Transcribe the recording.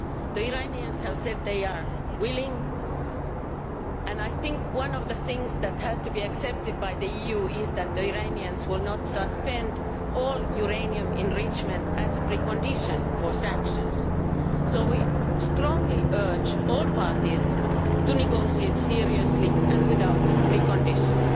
The Iranians have said they are willing, and I think one of the things the EU has to accept is that the Iranians will not suspend all uranium enrichment as a precondition for sanctions. We strongly urge all parties to negotiate seriously and without preconditions.